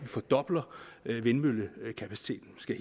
fordobler vindmøllekapaciteten skal